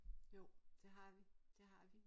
Jo det har vi det har vi